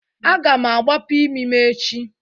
Agam agbapụ imi m echi.